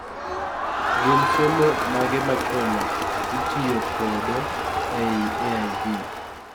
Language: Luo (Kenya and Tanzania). gin somo mage machon a itiyo kodo ei AIV